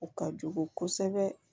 O ka jugu kosɛbɛ